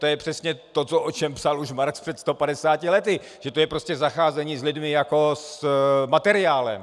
To je přesně to, o čem psal už Marx před 150 lety, že to je prostě zacházení s lidmi jako s materiálem.